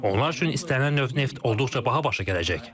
Onlar üçün istənilən növ neft olduqca baha başa gələcək.